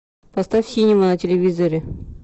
поставь синема на телевизоре